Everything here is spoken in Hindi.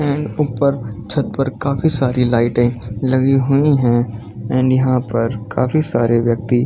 एंड ऊपर छत पर काफी सारी लाइटे लगी हुई है एंड यहाँ पर काफी सारे व्यक्ति --